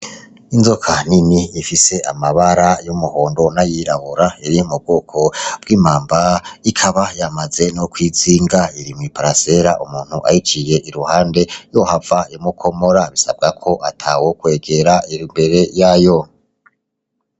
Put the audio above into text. Inzoka nini ifise amabara y'umuhondo n'ayirabura iri mu bwoko bw'imamba ikaba yamaze no kwizinga. Iri mwi parasera, umuntu ayiciye iruhande yohava imukomora, bisabwa ko atawokwegera.